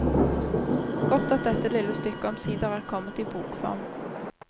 Godt at dette lille stykket omsider er kommet i bokform.